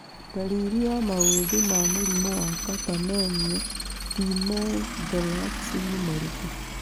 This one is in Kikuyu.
Ndariri na maũthĩ ma mũrimũ wa Catamenial pneumothorax nĩ marĩkũ?